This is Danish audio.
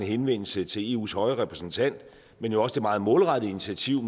henvendelse til eus høje repræsentant men jo også det meget målrettede initiativ